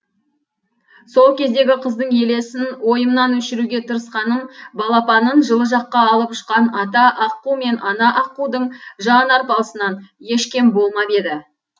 сол кездегі қыздың елесін ойымнан өшіруге тырысқаным балапанын жылы жаққа алып ұшқан ата аққу мен ана аққудың жан арпалысынан еш кем болмап еді